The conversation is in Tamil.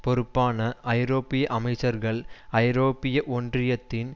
பொறுப்பான ஐரோப்பிய அமைச்சர்கள் ஐரோப்பிய ஒன்றியத்தின்